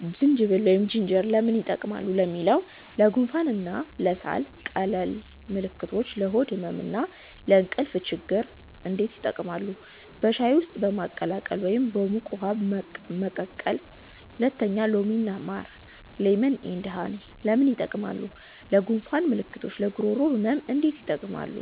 1) ዝንጅብል (Ginger) ለምን ይጠቀማሉ ለሚለው? ለጉንፋን እና ለሳል ቀላል ምልክቶች ለሆድ ህመም እና ለእንቅልፍ ችግኝ እንዴት ይጠቀማሉ? በሻይ ውስጥ በማቀላቀል ወይም በሙቅ ውሃ መቀቀል 2) ሎሚ እና ማር (Lemon & Honey) ለምን ይጠቀማሉ? ለጉንፋን ምልክቶች ለጉሮሮ ህመም እንዴት ይጠቀማሉ?